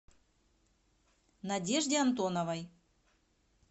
надежде антоновой